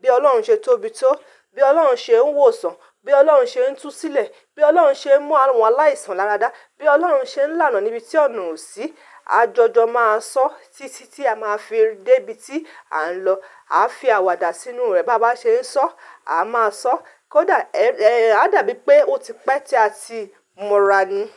bí Ọlọ́run ṣe tóbi tó, bí Ọlọ́run ṣe ń wòsàn, bí Ọlọ́run ṣe ń tú sílẹ̀, bí Ọlọ́run ṣe ń mú àwọn aláìsàn láradá, bí Ọlọ́run ṣe ń lánàá níbi tí ọ̀nà ò sí. A jọjọ máa sọ títí tí a máa fi dé ibi tí à ń lọ. A fi àwàdà sínú rẹ̀ bá bá ṣe ń sọ̀ọ́, a máa sọ́, kó dà, ẹ́, a dàbí pé ó ti pẹ́ tí a ti mọra ni.